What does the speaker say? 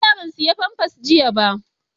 na manta ban saya famfas jiya ba